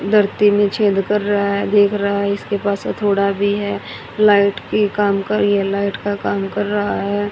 धरती में छेद कर रहा है देख रहा है इसके पास हथौड़ा भी है लाइट की काम कर रही लाइट का काम कर रहा है।